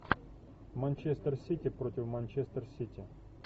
манчестер сити против манчестер сити